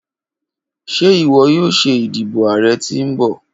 Ṣe iwọ yoo ṣe idibo aarẹ ti nbọ?